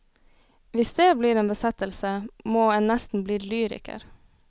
Hvis dét blir en besettelse, må en nesten bli lyriker.